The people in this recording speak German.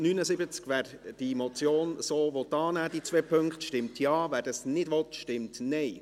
Wer diese beiden Punkte der Motion so annehmen will, stimmt Ja, wer dies ablehnt, stimmt Nein.